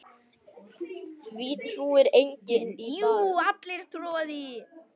Því trúir enginn í dag.